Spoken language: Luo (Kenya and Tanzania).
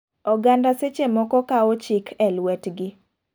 Oganda seche moko kawo chik e luet gi.